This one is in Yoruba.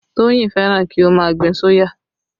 Toyin fẹ́ràn kí ó má gbin soya